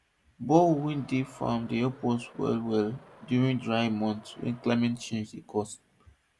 the borehole wey dey farm dey help us well well during dry months wey climate change dey cause